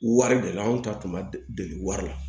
Wari de la anw ta tun ma deli wari la